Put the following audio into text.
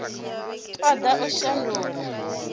o ḓ a u shandula